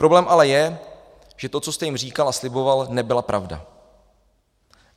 Problém ale je, že to, co jste jim říkal a sliboval, nebyla pravda.